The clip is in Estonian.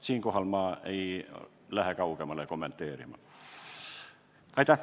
Siinkohal ei läheks ma kommenteerimisega kaugemale.